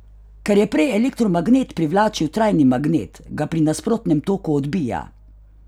Ker je prej elektromagnet privlačil trajni magnet, ga pri nasprotnem toku odbija!